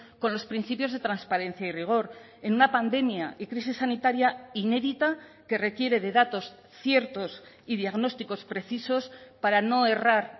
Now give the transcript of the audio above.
con los principios de transparencia y rigor en una pandemia y crisis sanitaria inédita que requiere de datos ciertos y diagnósticos precisos para no errar